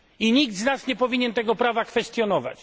Nikt z nas nie powinien tego prawa kwestionować.